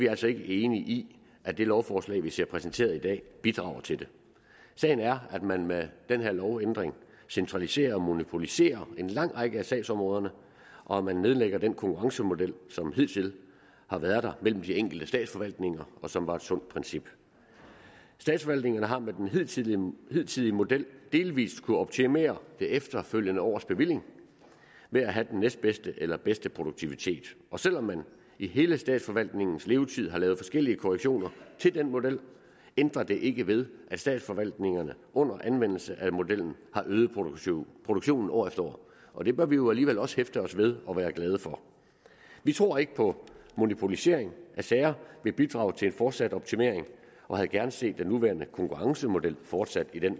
altså ikke enige i at det lovforslag vi ser præsenteret i dag bidrager til det sagen er at man med den her lovændring centraliserer og monopoliserer en lang række af sagsområderne og man nedlægger den konkurrencemodel som hidtil har været der mellem de enkelte statsforvaltninger og som var et sundt princip statsforvaltningerne har med den hidtidige hidtidige model delvist kunnet optimere det efterfølgende års bevilling ved at have den næstbedste eller bedste produktivitet og selv om man i hele statsforvaltningens levetid har lavet forskellige korrektioner til den model ændrer det ikke ved at statsforvaltningerne under anvendelse af modellen har øget produktionen produktionen år efter år og det bør vi jo alligevel også hæfte os ved og være glade for vi tror ikke på at monopolisering af sager vil bidrage til en fortsat optimering og havde gerne set den nuværende konkurrencemodel fortsat i den